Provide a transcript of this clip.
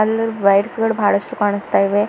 ಮುದ್ wires ಗಳು ಬಹಳಷ್ಟು ಕಾಣಸ್ತಾ ಇವೆ.